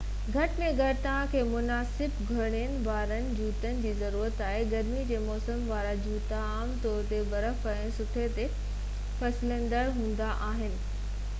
گهٽ ۾ گهٽ توهان کي مناسب کُڙين وارن جوتن جي ضرورت آهي گرميءَ جي موسم وارا جوتا عام طور تي برف ۽ سنو تي فسلندڙ هوندا آهن ايتري تائين جو ڪجهه سياري جا بوٽ ناقص هوندا آهن